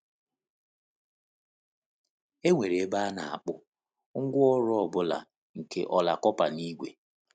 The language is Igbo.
E nwere ebe a na-akpụ “ngwaọrụ ọ bụla nke ọla kọpa na ígwè.”